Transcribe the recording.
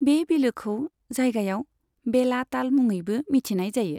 बे बिलोखौ जायगायाव बेला ताल मुङैबो मिथिनाय जायो।